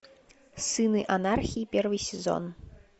сыны анархии первый сезон